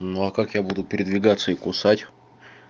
ну а как я буду передвигаться и кусать